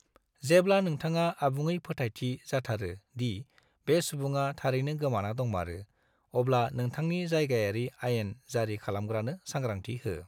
जेब्ला नोंथाङा आबुङै फोथायथि जाथारो दि बे सुबुङा थारैनो गोमाना दंमारो, अब्ला नोंथांनि जायगायारि आयेन जारि खालामग्रानो साग्रांथि हो।